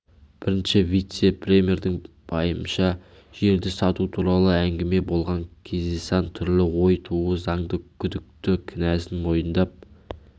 бірінші вице-премьердің пайымынша жерді сату туралы әңгіме болған кездесан түрлі ой тууы заңды күдікті кінәсін мойындап